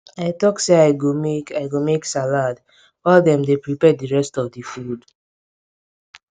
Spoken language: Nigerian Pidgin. i talk say i go mek i go mek salad while dem dey prepare di rest of di food